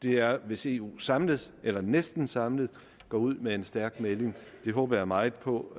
er hvis eu samlet eller næsten samlet går ud med en stærk melding det håber jeg meget på